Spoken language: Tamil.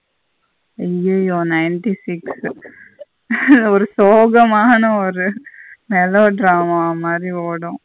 அயோய்யோ ninety six ஒரு சோகமான ஒரு melo drama மாறி ஓடும்.